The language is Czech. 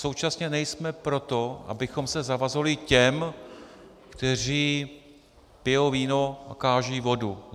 Současně nejsme pro to, abychom se zavazovali těm, kteří pijou víno a kážou vodu.